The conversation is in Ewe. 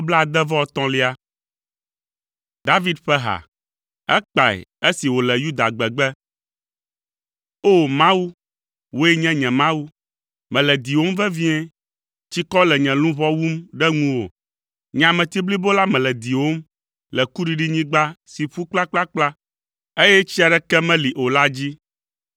David ƒe ha. Ekpae esi wòle Yuda gbegbe. O! Mawu, wòe nye nye Mawu, mele diwòm vevie; tsikɔ le nye luʋɔ wum ɖe ŋuwò, nye ameti blibo la mele diwòm, le kuɖiɖinyigba si ƒu kplakplakpla, eye tsi aɖeke meli o la dzi.